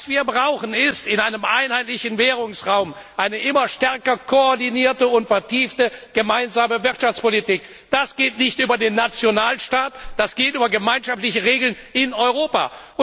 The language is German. Was wir brauchen, ist in einem einheitlichen Währungsraum eine immer stärker koordinierte und vertiefte gemeinsame Wirtschaftspolitik. Das geht nicht über den Nationalstaat, das geht über gemeinschaftliche Regeln in Europa!